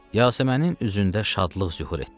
Yasəmənin üzündə şadlıq zühur etdi.